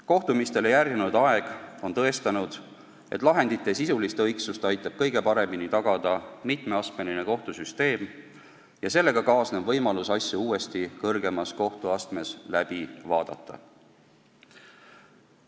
Kohtumistele järgnenud aeg on tõestanud, et lahendite sisulist õigsust aitab kõige paremini tagada mitmeastmeline kohtusüsteem ja sellega kaasnev võimalus asju uuesti kõrgemas kohtuastmes läbi vaadata.